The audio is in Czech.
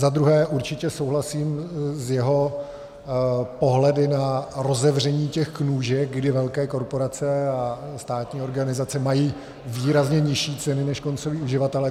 Za druhé určitě souhlasím s jeho pohledy na rozevření těch nůžek, kdy velké korporace a státní organizace mají výrazně nižší ceny než koncoví uživatelé.